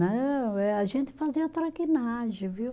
Não, eh a gente fazia traquinagem, viu?